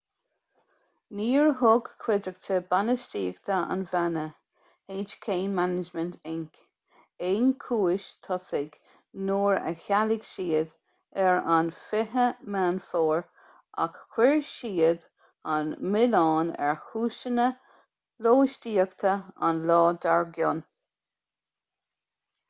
níor thug cuideachta bainistíochta an bhanna hk management inc aon chúis tosaigh nuair a chealaigh siad ar an 20 meán fómhair ach chuir siad an milleán ar chúiseanna lóistíochta an lá dar gcionn